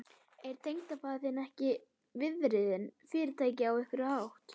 Er tengdafaðir þinn ekki viðriðinn Fyrirtækið á einhvern hátt?